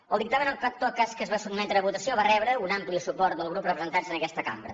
el dictamen en tot cas que es va sotmetre a votació va rebre un ampli suport dels grups representats en aquesta cambra